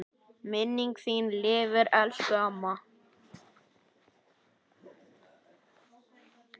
Minning þín lifir elsku amma.